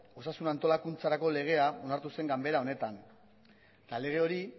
osasun antolakuntzarako legea onartu zen ganbera honetan eta lege hori